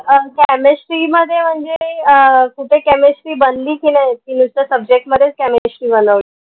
अह chemistry मध्ये म्हनजे अह कुठे chemistry बनली की नाई की नुसतं subject मधेच chemistry बनवली